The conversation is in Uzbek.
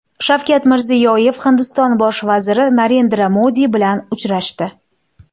Shavkat Mirziyoyev Hindiston bosh vaziri Narendra Modi bilan uchrashdi.